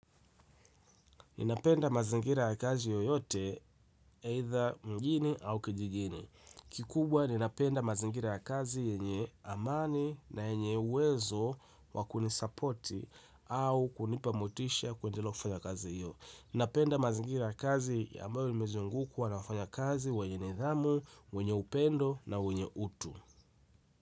Ninapenda mazingira ya kazi yoyote either mjini au kijijini. Kikubwa ninapenda mazingira ya kazi yenye amani na yenye uwezo wa kunisupport au kunipa motisha kwa ajili ya kazi hiyo. Ninapenda mazingira ya kazi ya ambayo imezungukwa na wafanya kazi wenye nidhamu, wenye upendo na wenye utu.